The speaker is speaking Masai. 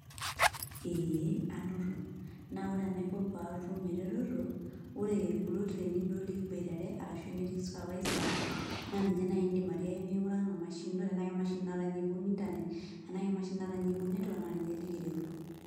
Ee, anoto. Na ore enaiko patum ereteto, ore kulo trainee duo likiboitare, arashu enetii supervisor, naa ninye nai idim atiaki miking'uraki ina mashini ino tenaa kemashini natanya ibung' Internet, enaa kemashini natanya ibung' netwak, naa ninye likiret.